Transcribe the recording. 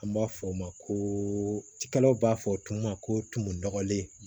An b'a fɔ o ma ko cikɛlaw b'a fɔ tumu ma ko tumu nɔgɔlen